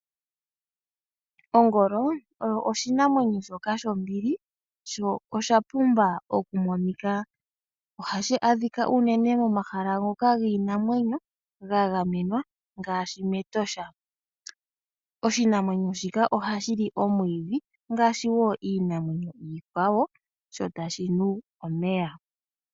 Ongolo oyo oshinamwenyo shoka shombili sho oshapumba okumonika. Ohashi adhika uunene momahala ngoka giinamwenyo ga gamenwa ngaashi mEtosha. oshinamwenyo shika ohashi li omwiidhi ngaashi wo iinamwenyo iikwawo sho tashi nu omeya.